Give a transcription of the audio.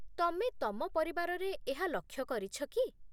ତମେ ତମ ପରିବାରରେ ଏହା ଲକ୍ଷ୍ୟ କରିଛ କି?